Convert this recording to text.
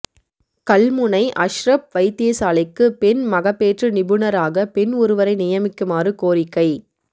கல்முனை அஷ்ரப் வைத்தியசாலைக்கு பெண் மகப்பேற்று நிபுணராக பெண் ஒருவரை நியமிக்குமாறு கோரிக்கை